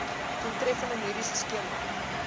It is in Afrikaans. doeltreffende mediese skema